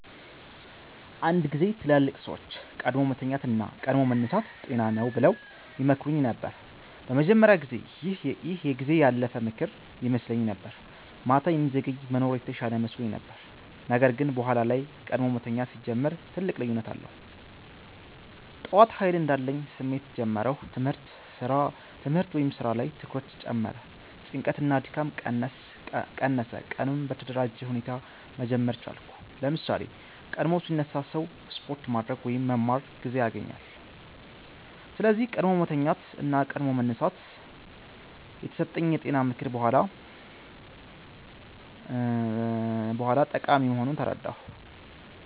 አንድ ጊዜ ትላልቅ ሰዎች “ቀድሞ መተኛት እና ቀድሞ መነሳት ጤና ነው” ብለው ይመክሩኝ ነበር። በመጀመሪያ ጊዜ ይህ የጊዜ ያለፈ ምክር ይመስለኝ ነበር፤ ማታ የሚዘገይ መኖር የተሻለ መስሎኝ ነበር። ነገር ግን በኋላ ላይ ቀድሞ መተኛት ሲጀምር ትልቅ ልዩነት አየሁ። ጠዋት ኃይል እንዳለኝ ስሜት ጀመርሁ ትምህርት/ስራ ላይ ትኩረት ጨመረ ጭንቀት እና ድካም ቀነሰ ቀኑን በተደራጀ ሁኔታ መጀመር ቻልኩ ለምሳሌ፣ ቀድሞ ሲነሳ ሰው ስፖርት ማድረግ ወይም መማር ጊዜ ያገኛል። ስለዚህ “ቀድሞ መተኛት እና ቀድሞ መነሳት” የተሰጠኝ የጤና ምክር በኋላ ጠቃሚ መሆኑን ተረዳሁ።